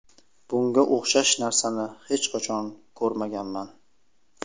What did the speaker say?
Bunga o‘xshash narsani hech qachon ko‘rmaganman.